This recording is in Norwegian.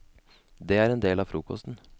Det er en del av frokosten.